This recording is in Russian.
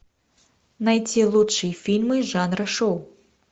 найти лучшие фильмы жанра шоу